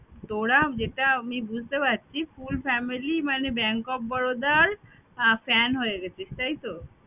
তোরা যেঁটা আমি বুঝতে পারছি full family মানে bank of Baroda র আহ fan গেছিস, তাই তো?